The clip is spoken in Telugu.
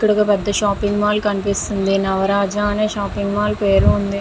ఇక్కడ ఒక పెద్ధ షాపింగ్ మాల్ కనిపిస్తుంది. నవరాజ అని షాపింగ్ మాల్ పేరు ఉంది.